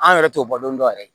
An yɛrɛ t'o bɔ don dɔ yɛrɛ